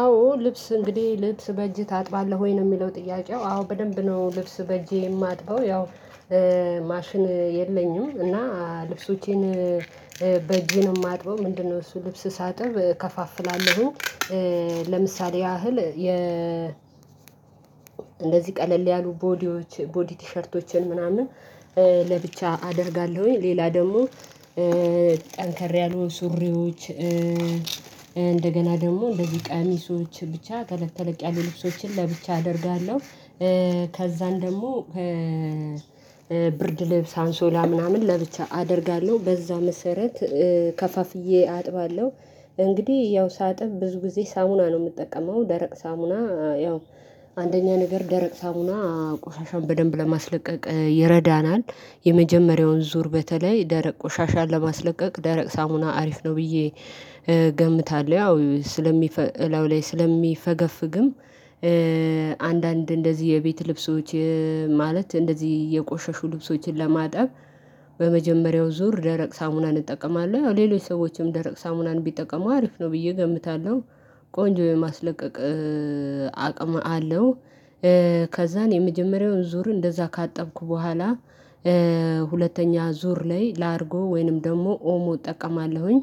አዎ ልብስ እንግዲህ ልብስ በእጅህ ታጥባለህ ወይ ነው የሚለው ጥያቄው አዎ በደንብ ነው ልብስ በእጄ የማጥበው ያው ማሽን የለኝም። እና ልብሶቼን በእጄ የማጥበው ምንድነው? እሱ ልብስ ሳጥብ እከፋፍላለሁኝ። ለምሳሌ ያህል የ እንደዚህ ቀለል ያሉ ቦዲዎች ቦዲ ቲሸርቶችን ምናምን ለብቻ አደርጋለሁኝ። ሌላ ደግሞ ጠንከር ያሉ ሱሪዎች። እንደገና ደግሞ እንደዚህ ቀሚሶች ብቻ ተለቅ ተለቅ ያሉ ልብሶችን ለብቻ አደርጋለሁ። ከዛን ደግሞ ብርድ ልብስ አንሶላ ምናምን ለብቻ አደርጋለሁ በዛ መሰረት ከፋፍዬ አጥባለሁ። እንግዲህ ያው ሳጥብ ብዙ ጊዜ ሳሙና ነው የምጠቀመው። ደረቅ ሳሙና ያው አንደኛ ነገር ደረቅ ሳሙና ቆሻሻን በደንብ ለማስለቀቅ ይረዳናል የመጀመሪያውን ዙር በተለይ ደረቅ ቆሻሻን ለማስለቀቅ ደረቅ ሳሙና አሪፍ ነው። ብዬ ገምታለሁ ያው ስለሚፈ እላው ላይ ስለሚፈገፍግም። አንዳንድ እንደዚህ የቤት ልብሶች ማለት እንደዚህ የቆሸሹ ልብሶችን ለማጠብ በመጀመሪያው ዙር ደረቅ ሳሙናን እጠቀማለሁ። ያው ሌሎች ሰዎችም ደረቅ ሳሙናን ቢጠቀሙ አሪፍ ነው ብዬ ገምታለሁ። ቆንጆ የማስለቀቅ አቅም አለው። ከዛን የመጀመሪያውን ዙር እንደዛ ካጠብኩ በኋላ ሁለተኛ ዙር ላይ ላርጎ ወይንም ደግሞ ኦሞ እጠቀማለሁኝ።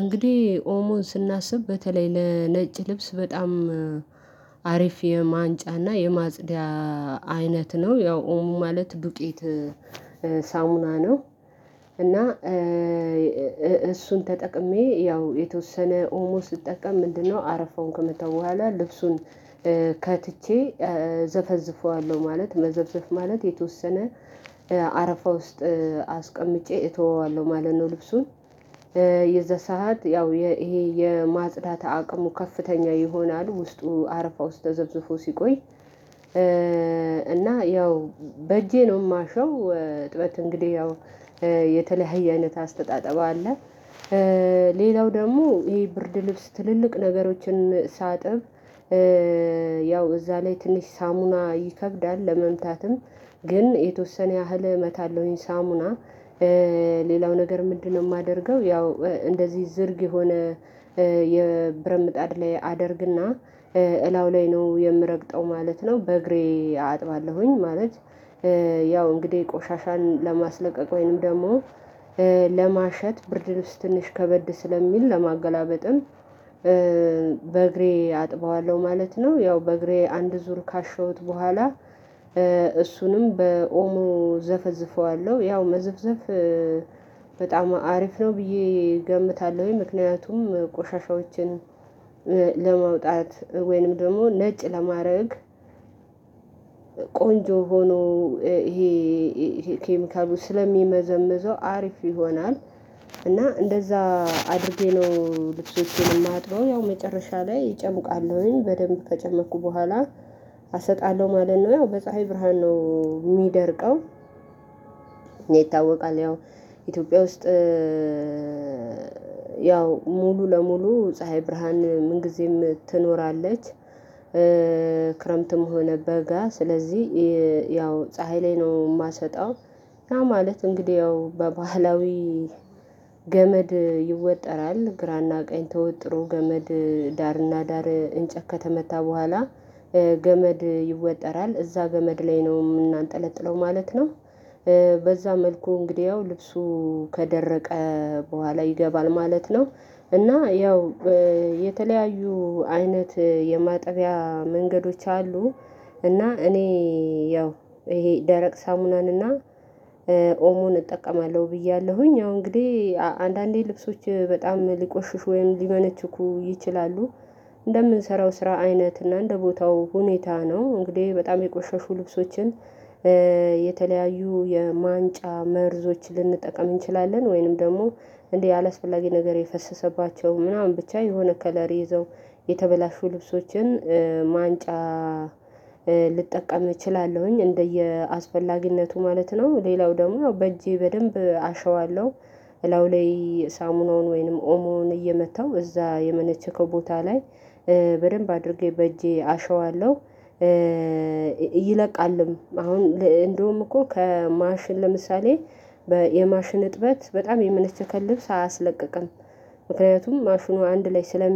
እንግዲህ ኦሞን ስናስብ በተለይ ለነጭ ልብስ በጣም አሪፍ የማንጫና የማፅጂያ አይነት ነው። ያው ኦሞ ማለት ዱቄት ሳሙና ነው። እና እሱን ተጠቅሜ ያው የተወሰነ ኦልሞስት ስትጠቀም ምንድነው? አረፋውን ከመታው በኋላ ልብሱን ከትቼ ዘፈዝፈዋለሁ። ማለት መዘፍዘፍ ማለት የተወሰነ አረፋ ውስጥ አስቀምጬ እተወዋለሁ ማለት ነው። ልብሱን የዛ ሰዓት ያው ይሄ የማጽዳት አቅሙ ከፍተኛ ይሆናል ውስጡ አረፋ ውስጥ ተዘፍዝፎ ሲቆይ። እና ያው በእጄ ነው የማሸው እጥበት እንግዲህ ያው የተለያየ አይነት አስተጣጠብ አለ። ሌላው ደግሞ ይሄ ብርድ ልብስ ትልልቅ ነገሮችን ሳጥብ። ያው እዛ ላይ ትንሽ ሳሙና ይከብዳል ለመምታትም ግን የተወሰነ ያህል እመታለሁኝ። ሳሙና ሌላው ነገር ምንድነው? የማደርገው ያው እንደዚህ ዝርግ የሆነ የብረትምጣድ ላይ አደርግና እላው ላይ ነው የምረግጠው ማለት ነው በእግሬ አጥባለሁኝ ማለት። ያው እንግዲህ ቆሻሻን ለማስለቀቅ ወይንም ደግሞ ለማሸት ብርድ ልብስ ትንሽ ከበድ ስለሚል ለማገላበጥም በእግሬ አጥበዋለሁ ማለት ነው። ያው በእግሬ አንድ ዙር ካሸወት በኋላ እሱንም በኦሞ ዘፈዝፈዋለሁ ያው መዘፍዘፍ በጣም አሪፍ ነው ብዬ እገምታለሁኝ። ምክንያቱም ቆሻሻዎችን ለመውጣት ወይንም ደግሞ ነጭ ለማድረግ ቆንጆ ሆኖ ይሄ ኬሚካሉ ስለሚመዘምዘው አሪፍ ይሆናል። እና እንደዛ አድርጌ ነው ልብሶቼን የማጥበው። ያው መጨረሻ ላይ እጨምቃለሁኝ በደንብ ከጨመቅኩ በኋላ አሰጣለሁ ማለት ነው ያው በፀሀይ ብርሃን ነው የሚደርቀው። ይታወቃል ያው ኢትዮጵያ ውስጥ ያው ሙሉ ለሙሉ ፀሀይ ብርሃን ምን ጊዜም ትኖራለች። ክረምትም ሆነ በጋ ስለዚህ ያው ፀሀይ ላይ ነው የማሰጣው። እና ማለት እንግዲህ ያው በባህላዊ ገመድ ይወጠራል ግራና ቀኝ ተወጥሮ ገመድ ዳርና ዳር እንጨት ከተመታ በኋላ ገመድ ይወጠራል እዛ ገመድ ላይ ነው የምናንጠለጥለው ማለት ነው። በዛ መልኩ እንግዲህ ያው ልብሱ ከደረቀ በኋላ ይገባል ማለት ነው። እና ያው የተለያዩ አይነት የማጠቢያ መንገዶች አሉ። እና እኔ ያው ይሄ ደረቅ ሳሙናን እና ኦሞን እጠቀማለሁ ብያለሁኝ ያው እንግዲህ አንዳንዴ ልብሶች በጣም ሊቆሽሹ ወይም ሊመነችኩ ይችላሉ። እንደምንሰራው ስራ አይነት እና እንደ ቦታው ሁኔታ ነው እንግዲህ በጣም የቆሸሹ ልብሶችን የተለያዩ የማንጫ መርዞች ልንጠቀም እንችላለን። ወይንም ደግሞ እንዲህ አላስፈላጊ ነገር የፈሰሰባቸው ምናምን ብቻ የሆነ ከለሪ ይዘው የተበላሹ ልብሶችን ማንጫ ልጠቀም እችላለሁኝ እንደየአስፈላጊነቱ ማለት ነው። ሌላው ደግሞ በእጄ በደንብ አሸዋለሁ። እላው ላይ ሳሙናውን ወይንም ኦሞውን እየመታው እዛ የመነቸከው ቦታ ላይ በደንብ አድርጌ በእጄ አሸዋለሁ። ይለቃልም አሁን እንደውም እኮ ከማሽን ለምሳሌ የማሽን እጥበት በጣም የመነቸከ ልብስ አያስለቅቅም። ምክንያቱም ማሽኑ አንድ ላይ ስለ